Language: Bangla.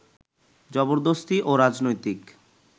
জবরদস্তি ও রাজনৈতিক